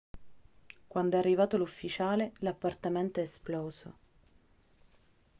quando è arrivato l'ufficiale l'appartamento è esploso